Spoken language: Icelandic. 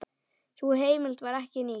Sú heimild var ekki nýtt.